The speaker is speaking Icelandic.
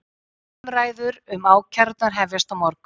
Umræður um ákærurnar hefjast á morgun